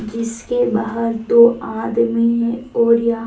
जिसके बाहर दो आदमी है और यहा--